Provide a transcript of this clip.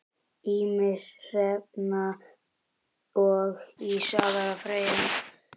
Ýmir, Hrefna og Lísbet Freyja.